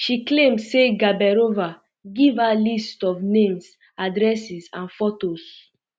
she claim say gaberova give her list of um names addresses um and fotos